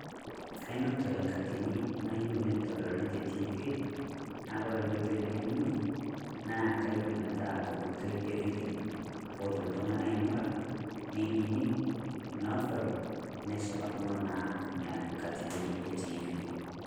Kainotore nkatin naiyeu neidoluni te tv, naa kore nkotoi nalimunye naa kaiyeu metaa te nkotoi e vidoo pootum ltung'ani aing'ura, neinining', nedol neshipakino naa nia nkatini e tv.